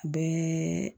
Bɛɛ